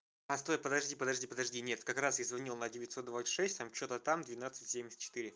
постой подожди подожди подожди нет как раз я звонил на девятьсот двадцать шесть там что-то там двенадцать семьдесят четыре